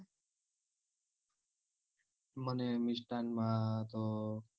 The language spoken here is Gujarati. મને મિસ્ટાન્ન માં તો